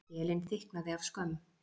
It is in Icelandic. Skelin þykknaði af skömm.